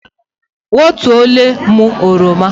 Ghọọtuole mụ oroma!